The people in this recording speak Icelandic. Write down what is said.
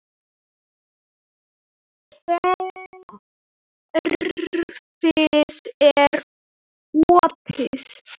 Kerfið er opið.